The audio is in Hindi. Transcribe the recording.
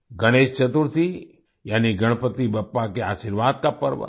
गणेश चतुर्थी यानी गणपति बप्पा के आशीर्वाद का पर्व